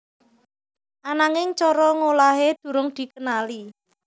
Ananging cara ngolahé durung dikenali